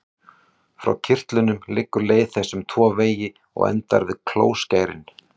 Frá kirtlunum liggur leið þess um tvo vegi og endar við klóskærin.